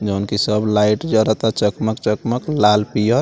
जोन कि सब लाइट जरअ ता चकमक-चकमक लाल-पियर।